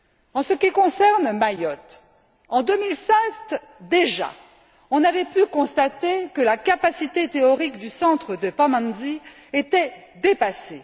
En ce qui concerne Mayotte, en 2007 déjà, on avait pu constater que la capacité théorique du centre de Pamandzi était dépassée.